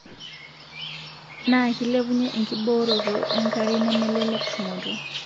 Naa kilepunye enkiborooto enkare nemelelek tumoto